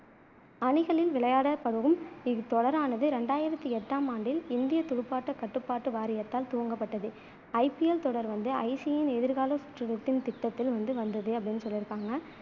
அணிகளில் விளையாடப்படும் இத்தொடரானது ரெண்டாயிரத்தி எட்டாம் ஆண்டில் இந்தியத் துடுப்பாட்டக் கட்டுப்பாட்டு வாரியத்தால் துவங்கப்பட்டது IPL தொடர் வந்து ICC யின் எதிர்காலச் திட்டத்தில் வந்து அப்படின்னு சொல்லியிருக்காங்க